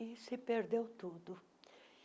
E se perdeu tudo.